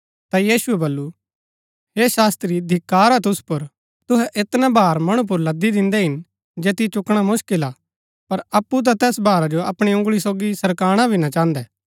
ता यीशुऐ वल्‍लु हे शास्त्री धिक्‍कार हा तुसु पुर तुहै ऐतना भार मणु पुर लद्‍दी दिन्दै हिन जैतियो चुकणा मुसकिल हा पर अप्पु ता तैस भारा जो अपणी उँगळी सोगी सरकाणा भी ना चाहन्दै